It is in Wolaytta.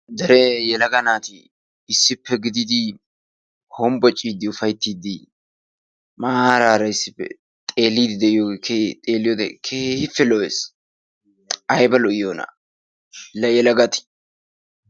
Dere yelaga naati issippe gididi hombbociiddi ufayttiiddi maaraara issippeVxeelliiddi diyogee xeelliyode keehippe lo"es. Ayba lo'iyoonaa la yelagati.